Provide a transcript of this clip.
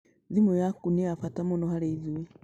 Thimu yaku nĩ ya bata mũno harĩ ithuĩ